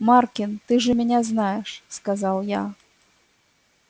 маркин ты же меня знаешь сказал я